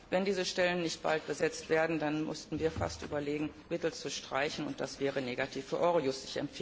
Aber wenn diese Stellen nicht bald besetzt werden, dann müssten wir fast überlegen, Mittel zu streichen und das wäre negativ für Eurojust.